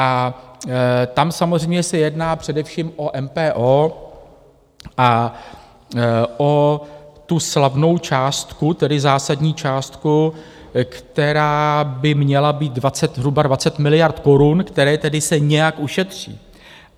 A tam samozřejmě se jedná především o MPO a o tu slavnou částku, tedy zásadní částku, která by měla být zhruba 20 miliard korun, které tedy se nějak ušetří.